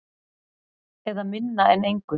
Eða minna en engu.